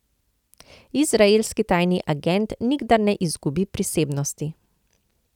Izraelski tajni agent nikdar ne izgubi prisebnosti.